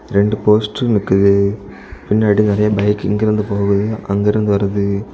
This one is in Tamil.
ரெண்டு போஸ்டர் நிக்கிது பின்னாடி நெறைய பைக் இங்கிருந்து போகுது அங்கிருந்து வருது.